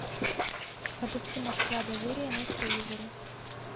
запусти москва доверие на телевизоре